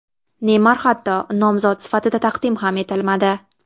Neymar hatto nomzod sifatida taqdim ham etilmadi.